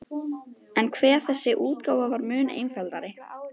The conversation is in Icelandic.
En hve þessi útgáfa var mun einfaldari!